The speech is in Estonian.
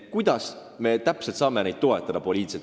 Kuidas me saame teda poliitiliselt toetada?